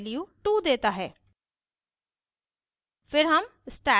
औए तीसरा object value 2 देता है